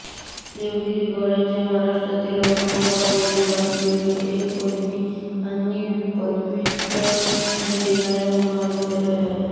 Devgiri college हे महाराष्ट्रातील औरंगाबाद येथे वसलेले एक पदवीधर आणि पदव्युत्तर शिक्षण देणारे महाविद्यालय आहे